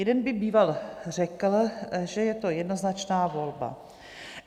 Jeden by býval řekl, že je to jednoznačná volba.